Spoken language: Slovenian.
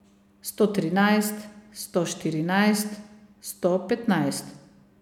Sto trinajst, sto štirinajst, sto petnajst.